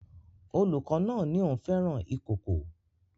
Olùkọ́ náà ní òun fẹ́ràn ikòkò